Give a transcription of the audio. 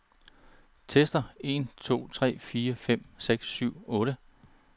Tester en to tre fire fem seks syv otte.